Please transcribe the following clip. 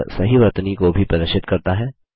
यह सही वर्तनी को भी प्रदर्शित करता है